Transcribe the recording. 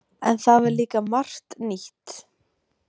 En það var líka margt nýtt.